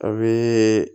A bɛ